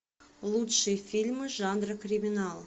лучшие фильмы жанра криминал